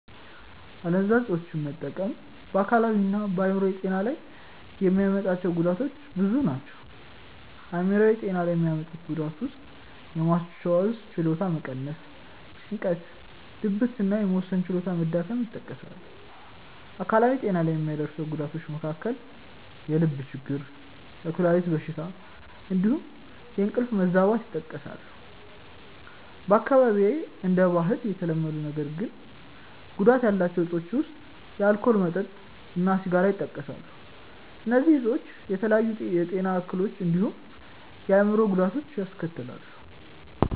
አደንዛዥ እፆችን መጠቀም በ አካላዊ እና በ አይምሮአዊ ጤና ላይ የሚያመጣቸው ጉዳቶች ብዙ ናቸው። አይምሯዊ ጤና ላይ የሚያመጡት ጉዳት ውስጥየማስታወስ ችሎታን መቀነስ፣ ጭንቀት፣ ድብርት እና የመወሰን ችሎታ መዳከም ይጠቀሳሉ። አካላዊ ጤና ላይ ከሚያደርሰው ጉዳቶች መካከል የልብ ችግር፣ የኩላሊት በሽታ እንዲሁም የእንቅልፍ መዛባት ይጠቀሳሉ። በአካባቢዬ እንደ ባህል የተለመዱ ነገር ግን ጉዳት ያላቸው እፆች ውስጥ የአልኮል መጠጥ እና ሲጋራ ይጠቀሳሉ። እነዚህ እፆች የተለያዩ የጤና እክሎችን እንዲሁም የአእምሮ ጉዳቶችን ያስከትላሉ።